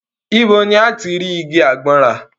Ibo ni a ti rí igi àgbọn rà?